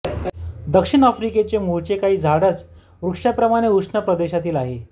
दक्षिण आफ्रिकेचे मूळचे काही झाडच वृक्षाप्रमाणे उष्ण प्रदेशातील आहेत